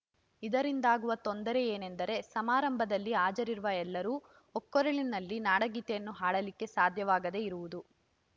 ಇದರಿಂದಾಗುವ ತೊಂದರೆ ಏನೆಂದರೆ ಸಮಾರಂಭದಲ್ಲಿ ಹಾಜರಿರುವ ಎಲ್ಲರೂ ಒಕ್ಕೊರಲಿನಲ್ಲಿ ನಾಡಗೀತೆಯನ್ನು ಹಾಡಲಿಕ್ಕೆ ಸಾಧ್ಯವಾಗದೇ ಇರುವುದು